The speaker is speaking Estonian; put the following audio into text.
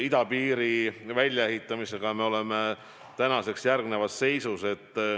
Idapiiri väljaehitamisel me oleme tänaseks järgmises seisus.